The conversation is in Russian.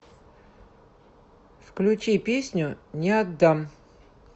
включи песню не отдам